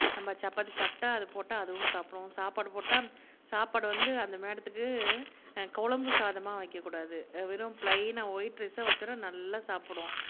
நம்ம சப்பாத்தி சாப்பிட்டா போட்டா அதுவும் சாப்பிடும் சாப்பாடு போட்டா சாப்பாடு வந்து அந்த மேடத்துக்கு குழம்பு சாதமா வைக்கக்கூடாது வெறும் ப்ளைனா ஒயிட் ரைஸா, வச்சோம்னா நல்லா சாப்பிடும்